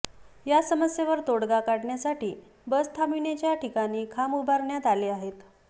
या समस्येवर तोडगा काढण्यासाठी बस थांबविण्याच्या ठिकाणी खांब उभारण्यात आले आहेत